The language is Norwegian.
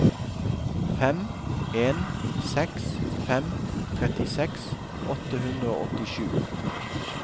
fem en seks fem trettiseks åtte hundre og åttisju